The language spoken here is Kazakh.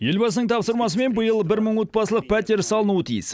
елбасының тапсырмасымен биыл бір мың отбасылық пәтер салынуы тиіс